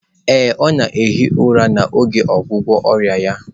Ee, ọ na-ehi ụra n'oge ọgwụgwọ ọrịa ya